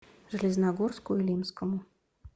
железногорску илимскому